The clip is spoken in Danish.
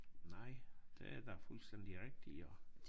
Nej det er da fuldstændig rigtig jo